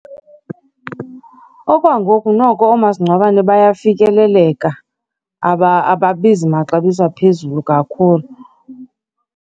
Okwangoku noko oomasingcwabane bayafikeleleka, ababizi maxabiso aphezulu kakhulu.